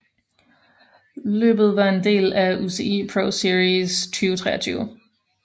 Løbet var en del af UCI ProSeries 2023